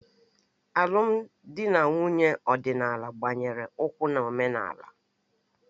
Alụmdi na nwunye ọdịnala gbanyere ukwuu na omenala